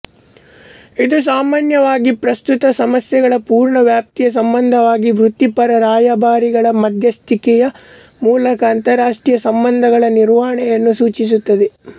ಇದು ಸಾಮಾನ್ಯವಾಗಿ ಪ್ರಸ್ತುತ ಸಮಸ್ಯೆಗಳ ಪೂರ್ಣ ವ್ಯಾಪ್ತಿಯ ಸಂಬಂಧವಾಗಿ ವೃತ್ತಿಪರ ರಾಯಭಾರಿಗಳ ಮಧ್ಯಸ್ಥಿಕೆಯ ಮೂಲಕ ಅಂತಾರಾಷ್ಟ್ರೀಯ ಸಂಬಂಧಗಳ ನಿರ್ವಹಣೆಯನ್ನು ಸೂಚಿಸುತ್ತದೆ